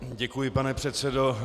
Děkuji, pane předsedo.